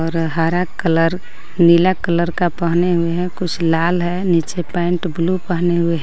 और हरा कलर नीला कलर का पहने हुए हैं कुछ लाल है नीचे पेंट ब्लू पहने हुए हैं.